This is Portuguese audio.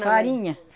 Farinha.